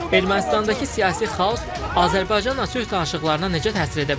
Ermənistandakı siyasi xaos Azərbaycanla sülh danışıqlarına necə təsir edə bilər?